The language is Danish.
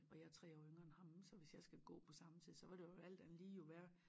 Og jeg er 3 år yngre end ham så hvis jeg skal gå på samme tid så vil det jo alt andet lige jo være